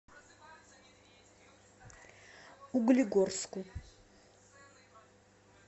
углегорску